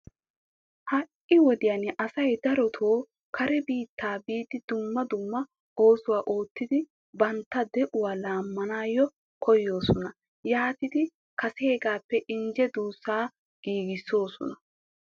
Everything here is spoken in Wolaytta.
Ha"i wodiyan asay darotoo kare biittaa biidi dumma dumma oosuwa oottidi bantta de'uwa laammanawu koyoosona. Yaatidi kaseegaappe injje duussaa giigissoosona.